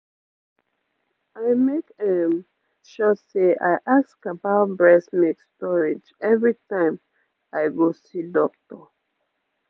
i make ehm sure say i ask about breast milk storage every time i go see doctor